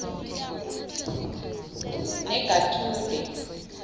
nagethude